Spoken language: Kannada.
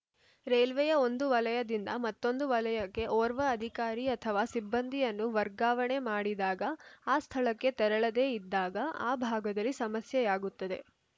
ರೈಲ್ವೆಯ ಒಂದು ವಲಯದಿಂದ ಮತ್ತೊಂದು ವಲಯಕ್ಕೆ ಓರ್ವ ಅಧಿಕಾರಿ ಅಥವಾ ಸಿಬ್ಬಂದಿಯನ್ನು ವರ್ಗಾವಣೆ ಮಾಡಿದಾಗ ಆ ಸ್ಥಳಕ್ಕೆ ತೆರಳದೇ ಇದ್ದಾಗ ಆ ಭಾಗದಲ್ಲಿ ಸಮಸ್ಯೆಯಾಗುತ್ತದೆ